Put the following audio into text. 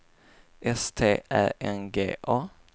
S T Ä N G A